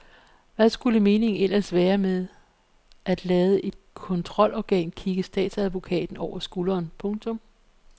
Hvad skulle meningen ellers være med at lade et kontrolorgan kigge statsadvokaten over skulderen. punktum